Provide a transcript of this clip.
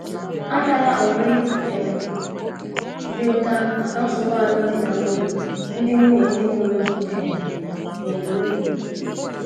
Atala onwe um gị ụta maka nsogbu alụmdi na nwunye ndị nwunye ndị mụrụ gị um na - enwe